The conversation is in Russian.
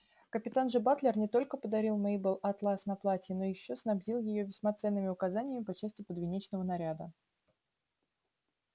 капитан же батлер не только подарил мейбелл атлас на платье но ещё снабдил её весьма ценными указаниями по части подвенечного наряда